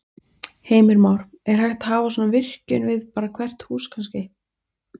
Heimir Már: Er hægt að hafa svona virkjun við bara hvert hús kannski?